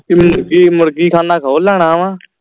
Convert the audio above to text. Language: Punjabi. ਕਿ ਕਿ ਮੁਰਗੀਖਾਨਾ ਖੋਲ ਲੈਣਾ ਵਾ